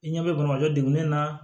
I ɲɛ bɛ bamakɔ degunin na